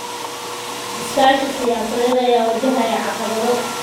Iskaashi siyaasadeed ayaa wajahaya caqabado.